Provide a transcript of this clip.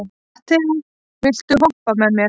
Matthea, viltu hoppa með mér?